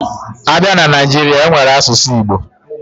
Abia na Naijiri, enwere asusu Igbo